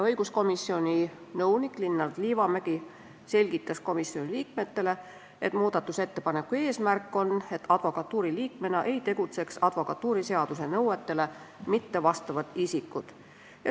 Õiguskomisjoni nõunik Linnar Liivamägi selgitas komisjoni liikmetele muudatusettepaneku eesmärki, et advokatuuri liikmetena ei tegutseks advokatuuriseaduse nõuetele mittevastavad isikud.